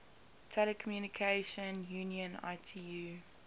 telecommunication union itu